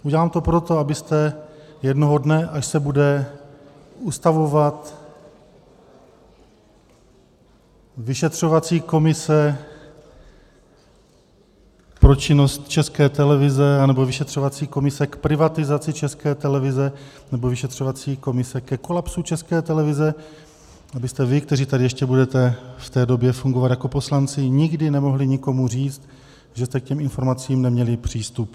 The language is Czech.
Udělám to proto, abyste jednoho dne, až se bude ustavovat vyšetřovací komise pro činnost České televize, nebo vyšetřovací komise k privatizaci České televize, nebo vyšetřovací komise ke kolapsu České televize, abyste vy, kteří tady ještě budete v té době fungovat jako poslanci, nikdy nemohli nikomu říct, že jste k těm informacím neměli přístup.